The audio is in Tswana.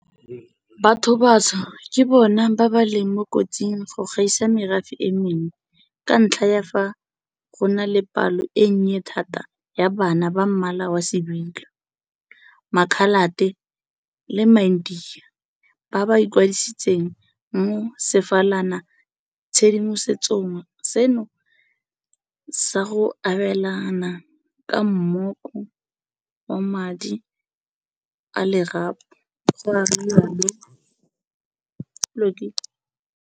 Bathobatsho ke bona ba ba leng mo kotsing go gaisa merafe e mengwe ka ntlha ya fa go na le palo e nnye thata ya bana ba mmala wa sebilo, makhalate le maindiya ba ba ikwadisitseng mo sefalana tshedimosetsong seno sa go abelana ka mmoko wa madi a lerapo, ga rialo Mokomele.